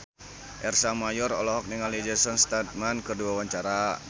Ersa Mayori olohok ningali Jason Statham keur diwawancara